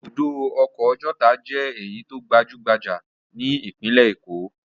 Ibùdó ọkọ̀ Ọjọ́ta jẹ́ èyí tó gbajú-gbajà ní ìpínlẹ̀ Èkó.